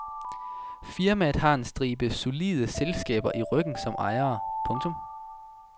Firmaet har en stribe solide selskaber i ryggen som ejere. punktum